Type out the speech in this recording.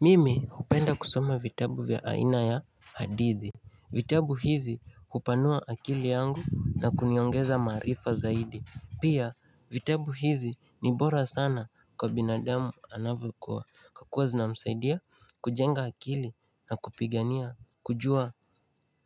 Mimi hupenda kusome vitabu vya aina ya hadithi vitabu hizi hupanua akili yangu na kuniongeza maarifa zaidi Pia vitabu hizi ni bora sana kwa binadamu anavyokua Kwa kuwa zinamsaidia kujenga akili na kupigania kujua